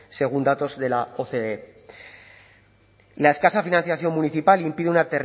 según datos de la oce y la escasa financiación municipal impide una